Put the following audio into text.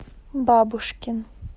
бабушкин